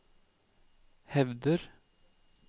hevder